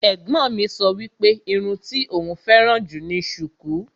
Ẹ̀gbọ́n mi sọ wípé irun tí òún féràn jù ni sùkú.